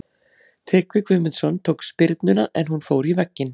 Tryggvi Guðmundsson tók spyrnuna en hún fór í vegginn.